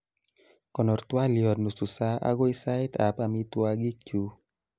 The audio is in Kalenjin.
konor twaliot nusu sa agoi sait ab amitwagik chu